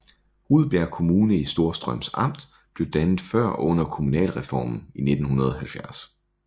Rudbjerg Kommune i Storstrøms Amt blev dannet før og under kommunalreformen i 1970